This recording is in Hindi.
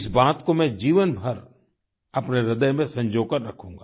इस बात को मैं जीवनभर अपने ह्रदय में संजो कर रखूँगा